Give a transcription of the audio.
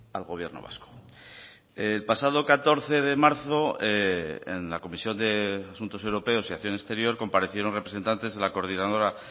al gobierno vasco el pasado catorce de marzo en la comisión de asuntos europeos y acción exterior comparecieron representantes de la coordinadora